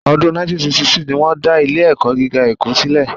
Ọdún 1962 ni wọ́n dá Ilé-ẹ̀kọ́ gíga Èkó sílẹ̀